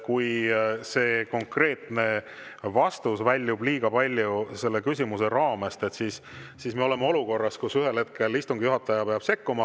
Kui konkreetne vastus väljub liiga palju küsimuse raamest, siis me oleme olukorras, kus ühel hetkel istungi juhataja peab sekkuma.